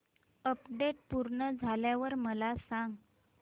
update पूर्ण झाल्यावर मला सांग